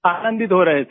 आनंदित हो रहे है सब